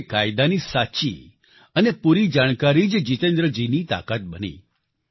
એટલે કે કાયદાની સાચી અને પૂરી જાણકારી જ જિતેન્દ્ર જીની તાકાત બની